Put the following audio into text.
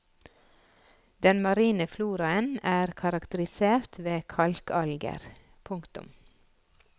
Den marine floraen er karakterisert ved kalkalger. punktum